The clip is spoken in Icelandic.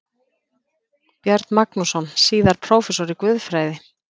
Björn Magnússon, síðar prófessor í guðfræði.